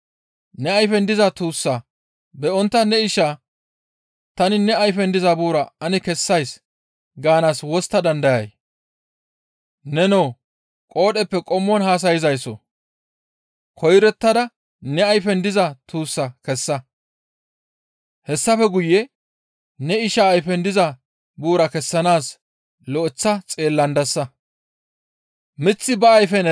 Ne ayfen diza tuussaa be7ontta ne ishaa, ‹Tani ne ayfen diza buuraa ane kessays› gaanaas wostta dandayay? Nenoo qoodheppe qommon hanizaysso koyrottada ne ayfen diza tuussaa kessa; hessafe guye ne ishaa ayfen diza buuraa kessanaas lo7eththa xeellandassa.